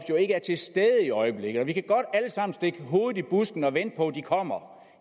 ikke er til stede i øjeblikket vi kan godt alle sammen stikke hovedet i busken og vente på at de kommer